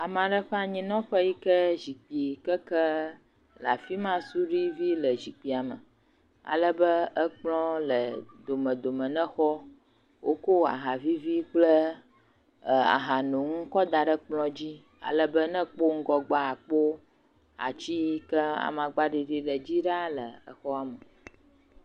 Ame aɖe ƒe anyinɔƒe yi ke zikpui keke le afi ma. Suɖui vi le zikpuia me ale be ekplɔ̃ le domedome ne xɔa. Woko aha vivi kple ahanoŋu kɔ da ɖe kplɔ̃ dzi ale be ne èkpɔ ŋgɔgbea, àkpɔ ati yi ke amagbaɖiɖi le dzi ɖaa le xɔa me.